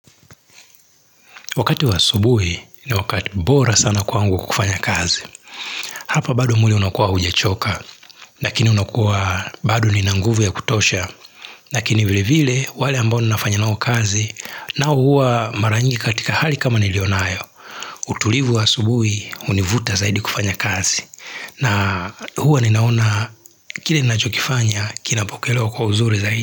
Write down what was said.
Wakati wa asubuhi ni wakati bora sana kwangu kufanya kazi. Hapa bado mwili unakuwa hujachoka, lakini unakuwa bado nina nguvu ya kutosha. Lakini vile vile wale ambao ninafanya nao kazi nao huwa mara nyingi katika hali kama nilionayo. Utulivu wa subuhi univuta zaidi kufanya kazi. Na huwa ninaona kile ninachokifanya kinapokelewa kwa uzuri zaidi.